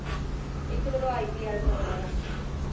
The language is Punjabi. ਇੱਕ ਜਦੋਂ ipl